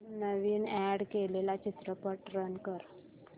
नवीन add केलेला चित्रपट run कर